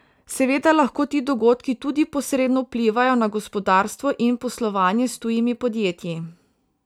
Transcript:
Seveda lahko ti dogodki tudi posredno vplivajo na gospodarstvo in poslovanje s tujimi podjetji.